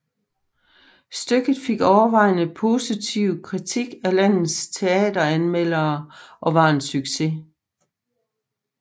Stykket fik overvejende positiv kritik af landets teateranmeldere og var en succes